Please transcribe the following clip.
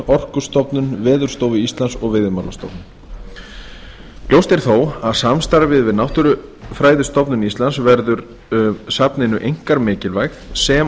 orkustofnun veðurstofu íslands og veiðimálastofnun ljóst er þó að samstarfið við náttúrufræðistofnun íslands verður safninu einkar mikilvægt sem